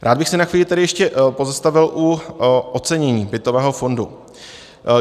Rád bych se na chvíli tedy ještě pozastavil u ocenění bytového fondu.